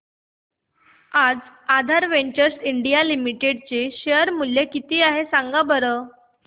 आज Aadhaar ventures India limited चे share चे मूल्य किती आहे सांगा बरं